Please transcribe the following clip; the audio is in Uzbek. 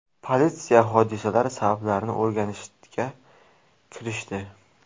Politsiya hodisa sabablarini o‘rganishga kirishdi.